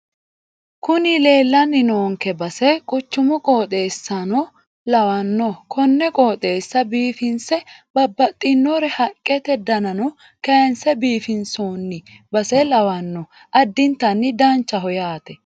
Kuni leellanni noonke base quchumu qoxeessano lawanno konne qooxeessa biifinse babbaxinore haqqete danano kaayinse biifinsoonni base lawanno addintanni danchaho yaate.